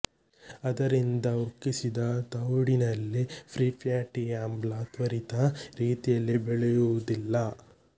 ಅದರಿಂದ ಉಕ್ಕಿಸಿದ ತವುಡಿನಲ್ಲಿ ಫ್ರೀಫ್ಯಾಟಿ ಆಮ್ಲ ತ್ವರಿತ ರೀತಿಯಲ್ಲಿ ಬೆಳೆಯುವುದಿಲ್ಲ